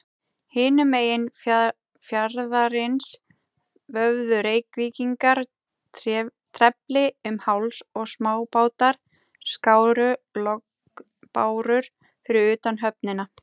Hinum megin fjarðarins vöfðu Reykvíkingar trefli um háls, og smábátar skáru lognbárur fyrir utan höfnina.